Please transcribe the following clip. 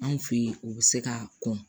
Anw fe ye o be se ka kɔn